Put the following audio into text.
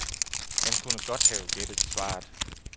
Han kunne godt have gættet svaret.